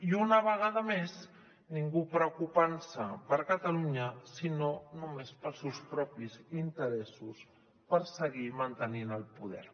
i una vegada més ningú preocupant se per catalunya sinó només pels seus propis interessos per seguir mantenint el poder